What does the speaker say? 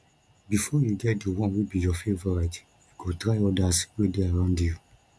before you get di one wey be your favourite you go try others wey de around you